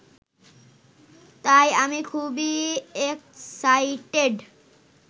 তাই আমি খুবই এক্সাইটেড